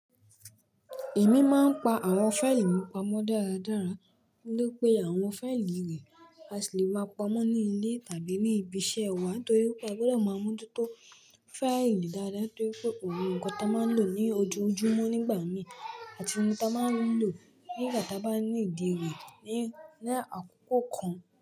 Èmi máa ń pa àwọn fáìlì pamọ́ dáradára ní pé àwọn fáìlì rẹ̀ a sì le maa pamọ́ ní ilé tàbí ní ibi iṣẹ́ wa torí pé a gbọdọ̀ máa mú oju tó fáìlì dáadáa torí pé òun nǹkan ta máa ń lò ní ojú ojúmọ́ nígbà mí àti ohun ta máa ń lò ní ìgbà ta bá nílo re ní àkókò kan.